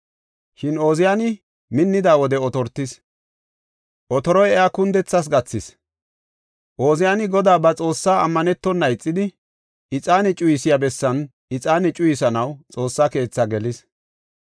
Shin Ooziyani minnida wode otortis; otoroy iya kundethas gathis. Ooziyani Godaa ba Xoossa ammanetona ixidi ixaane cuyisiya bessan ixaane cuyisanaw Xoossa keethi gelis.